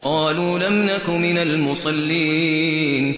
قَالُوا لَمْ نَكُ مِنَ الْمُصَلِّينَ